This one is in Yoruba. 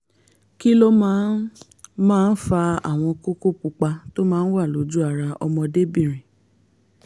kí ló máa máa ń fa àwọn kókó pupa tó máa ń wà lójú ara ọmọdébìnrin?